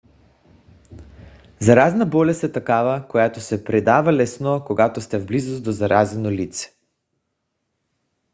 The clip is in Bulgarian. заразна болест е такава която се предава лесно когато сте в близост до заразено лице